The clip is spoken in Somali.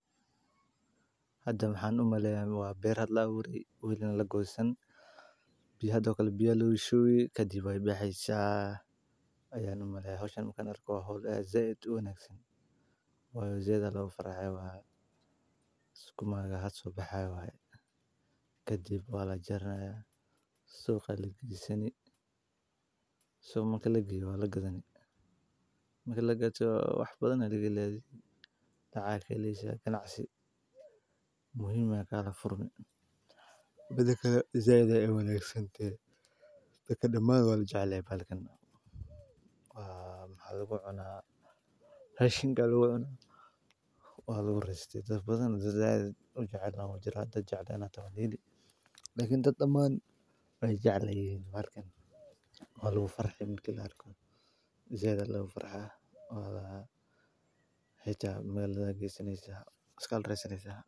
Hadda ma ahan umaleyaa waa beer hadlaa u dhigna lagu go'san biyo haddoo kala bilooyay shuu ka dib waa bixisa, ayaan umaleya hayshano markaan arko ahood ay zayd u eegan. Way u zayd hal u faraxay waaye isku maga had soo baxay waaye. Ka dib waa la jarno soo xallii geliisan. Suuban kastaa laga yeero lagana geli. Makala gacanto wax badana ligi leeyadii tacay keliya si aad ganacsatay muhiim adka furmi. Badanka Zayd ay weyn iagsante dhammaan waa jecel falcon. Waa haduu cunaa heshi galwayna waa la isticmaal badan. Zayd wuxuu celnay jirahada jecnayna tani liidi. Lakiin taaman way jecleyn dhibaatkan waa loogu faraxay midkida arkoon. Zayd hal loogu faraxaa waa heystay meelo lagii san iysan iskaal raysan isagoo.